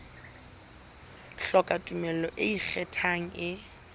hloka tumello e ikgethang e